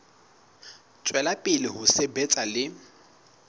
tswela pele ho sebetsa le